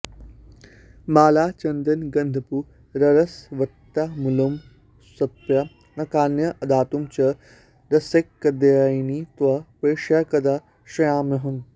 मालाचन्दनगन्धपूररसवत्ताम्बूलसत्पानकान्य् आदातुं च रसैकदायिनि तव प्रेष्या कदा स्यामहम्